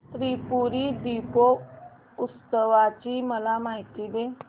त्रिपुरी दीपोत्सवाची मला माहिती दे